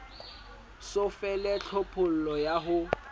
so fele tlhophollo ya ho